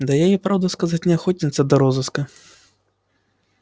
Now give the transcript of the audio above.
да и я правду сказать не охотница до розыска